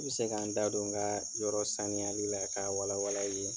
N bɛ se ka n da don n ka yɔrɔ saniyali la ka a wala wala i ye.